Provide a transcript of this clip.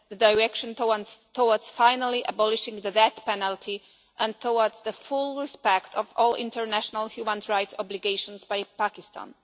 a direction towards finally abolishing the death penalty and towards the full respect of all international human rights obligations by Pakistan.